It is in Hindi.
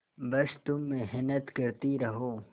बस तुम मेहनत करती रहो